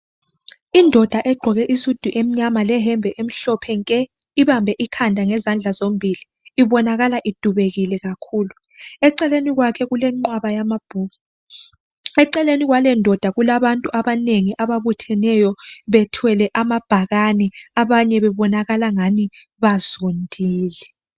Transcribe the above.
Indoda egqoke isudu emnyama leyembe emhlophe nke ibambe ikhanda ngezandla zombili. Ibonakala idubekile kakhulu. Eceleni kwakhe kulenqwaba yamabhuku. Eceleni kwalendoda kulabantu abanengi ababutheneyo bethwele amabhakani, abanye bebonakala angani bazondile.